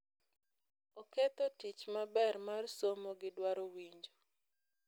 Oketho tich maber mar somo gi dwaro winjo.